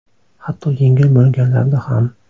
Hatto yengil bo‘lganlarda ham.